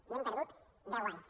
i hem perdut deu anys